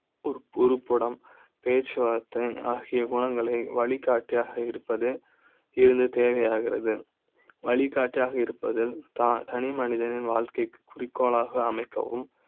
உருப்பட ம், பேச்சுவார்த்தை ஆகிய குணங்களை வழிகாட்டி யாக இருப்பது இருந்து தேவையாகிறது வழிகாட்டி யாக இருப்பது தான் தனிமனித னின் வாழ்க்கை க்குக் குறிக்கோளாக அமைக்க வும்